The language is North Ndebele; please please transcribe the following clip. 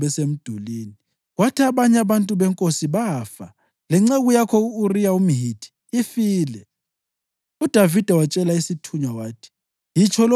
Lapho-ke abemitshoko batshoke izinceku zakho besemdulini, kwathi abanye abantu benkosi bafa. Lenceku yakho, u-Uriya umHithi ifile.”